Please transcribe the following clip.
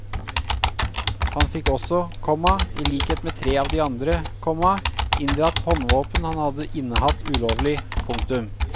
Han fikk også, komma i likhet med tre av de andre, komma inndratt håndvåpen han hadde innehatt ulovlig. punktum